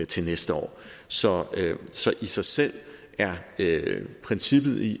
til næste år så i sig selv er princippet i